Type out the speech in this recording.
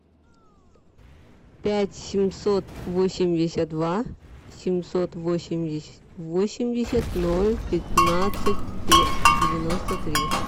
пять семьсот восемьдесят два семьсот восемьдесят восемьдесят ноль пятнадцать девяносто три